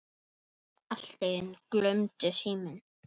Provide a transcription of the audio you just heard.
Allt í einu glumdi síminn.